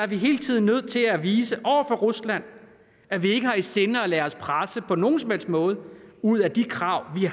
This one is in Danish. vi hele tiden nødt til at vise over for rusland at vi ikke har i sinde at lade os presse på nogen som helst måde ud af de krav vi